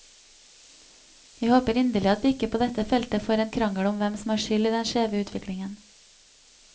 Jeg håper inderlig at vi ikke på dette feltet får en krangel om hvem som har skyld i den skjeve utviklingen.